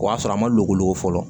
O y'a sɔrɔ a ma loko fɔlɔ